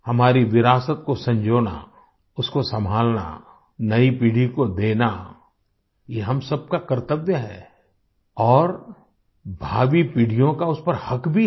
हमारी विरासत को संजोना उसको संभालना नई पीढ़ी को देना ये हम सब का कर्तव्य है और भावी पीढ़ियों का उस पर हक भी है